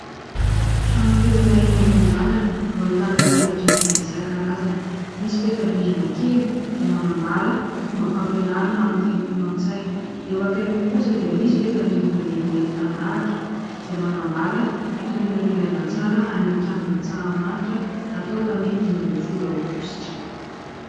Trano kely iray eny amoron-dalana no ahitana peta-drindrina isakarazany, misy peta-drindrina kely izay manambara fomba fampianarana amin'ny teny frantsay, eo ankaikiny kosa dia misy peta-drindrina lehibe mitandahatra izay manambara fitoriana filazantsara tany amin'ny kianjan' antsahamanitra natao tamin'ny dimy amby folo aogostra.